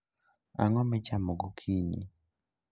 Ang'o michamo gokinyi?